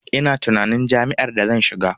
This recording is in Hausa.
Ina tunanin jam'iyyar da zan shiga.